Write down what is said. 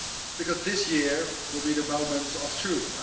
because this year will be the moment of truth.